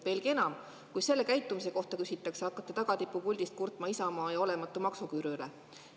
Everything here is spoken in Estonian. Veelgi enam, kui sellise käitumise kohta küsitakse, hakkate tagatippu puldist kurtma Isamaa ja olematu maksuküüru üle.